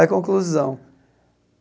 Aí, conclusão.